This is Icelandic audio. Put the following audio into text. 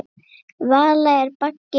Vala er baggi minni.